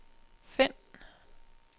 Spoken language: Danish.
find